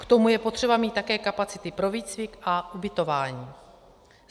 K tomu je potřeba mít také kapacity pro výcvik a ubytování.